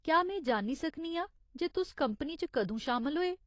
क्या में जान्नी सकनी आं जे तुस कंपनी च कदूं शामल होए ?